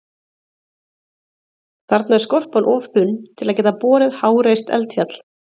Þarna er skorpan of þunn til að geta borið háreist eldfjall.